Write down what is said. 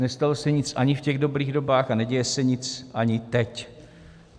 Nestalo se nic ani v těch dobrých dobách a neděje se nic ani teď.